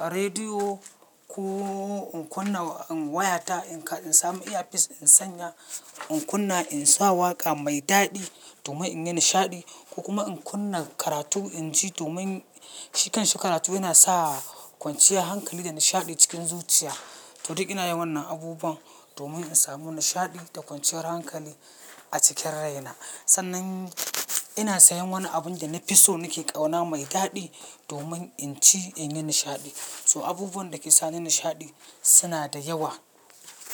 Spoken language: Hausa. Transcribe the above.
rediyo ko in kunna wayata in samu earpiece in sanya, in kunna in sa waƙa mai daɗi domin in yi nishaɗi ko kuma in kunna karatu in ji domin shikan shi karatu yana sa kwanciyar hankali da nishaɗi cikin zuciya. To duk ina yin wannan abubuwan domin in samu nishaɗi da kwanciyar hankali a cikin rai na. Sannan ina sayan wani abun da na pi so nake ƙauna mai daɗi domin in ci in yi nishaɗi. So abubuwan da ke sa ni nishaɗi suna da yawa.